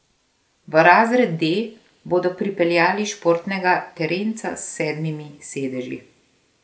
V razred D bodo pripeljali športnega terenca s sedmimi sedeži.